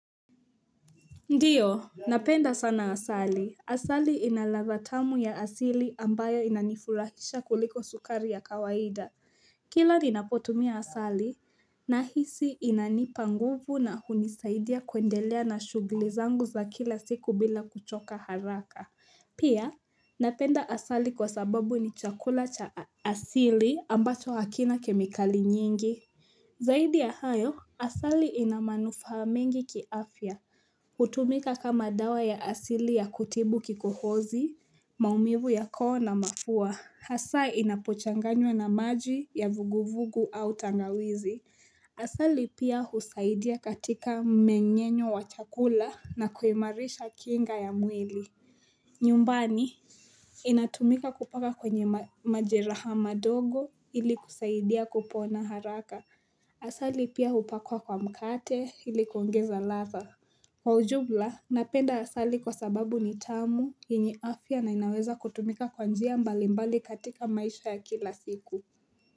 Ndiyo, napenda sana asali. Asali inaladha tamu ya asili ambayo inanifurahisha kuliko sukari ya kawaida. Kila ninapotumia asali, nahisi inanipa nguvu na hunisaidia kuendelea na shuglizangu za kila siku bila kuchoka haraka. Pia, napenda asali kwa sababu ni chakula cha asili ambacho hakina kemikali nyingi. Zaidi ya hayo, asali inamanufahamengi kiafya, hutumika kama dawa ya asili ya kutibu kikohozi, maumivu ya koo na mapua. Asa inapochanganywa na maji ya vuguvugu au tangawizi. Asali pia husaidia katika mmenyenyo wachakula na kuimarisha kinga ya mwili. Nyumbani, inatumika kupaka kwenye majeraha madogo ili kusaidia kupona haraka. Asali pia upakwa kwa mkate ilikuongeza latha kwa ujumla napenda asali kwa sababu ni tamu yenye afya na inaweza kutumika kwanjia mbali mbali katika maisha ya kila siku.